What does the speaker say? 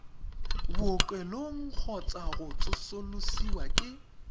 bookelong kgotsa go tsosolosiwa ke